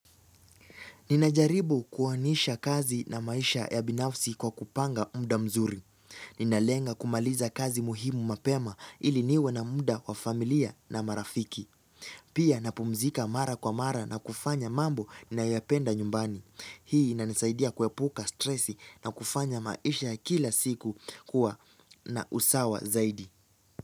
Ninajaribu kuwanisha kazi na maisha ya binafsi kwa kupanga muda mzuri. Ninalenga kumaliza kazi muhimu mapema ili niwe na muda wa familia na marafiki. Pia napumzika mara kwa mara na kufanya mambo ninayoyapenda nyumbani. Hii inanisaidia kuepuka stresi na kufanya maisha ya kila siku kuwa na usawa zaidi.